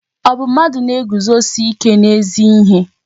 Ọ bụ mmadụ na-eguzosi ike n'ezi ihe?